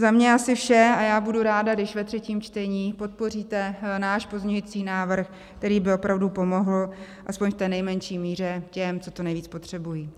Za mě asi vše a já budu ráda, když ve třetím čtení podpoříte náš pozměňující návrh, který by opravdu pomohl aspoň v té nejmenší míře těm, co to nejvíc potřebují.